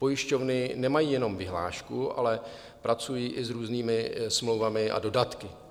Pojišťovny nemají jenom vyhlášku, ale pracují i s různými smlouvami a dodatky.